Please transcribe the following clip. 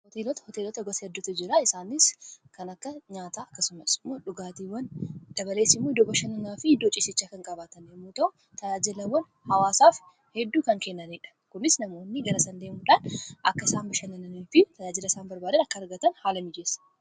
hooteelota hooteelota gosa eddoota jiraa isaanis kan akka nyaataa akkasumas dhugaatiiwwan dabaleessimu iddoo bashannanaa fi hiddoo cisichaa kan qabaatanemuutao tayaajilawwan hawaasaaf hedduu kan kennaniidha kunis namoonni garasandee mudaan akka isaan bashannaanaa fi tayaajila isaan barbaadaan akka argatan haala miijeessa